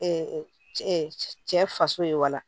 cɛ faso ye wala